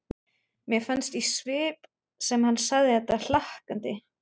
Mér fannst í svip sem hann segði þetta hlakkandi.